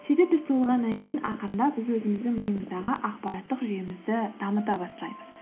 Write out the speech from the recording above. сөйтіп біз туылғаннан кейін ақырындап біз өзіміздің миымыздағы ақпараттық жүйемізді дамыта бастаймыз